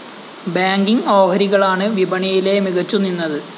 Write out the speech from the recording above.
banking ഓഹരികളാണ് വിപണിയിലെ മികച്ചു നിന്നത്